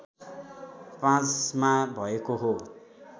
५ मा भएको हो